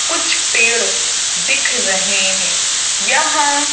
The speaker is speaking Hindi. कुछ पेड़ दिख रहे हैंयहाँ--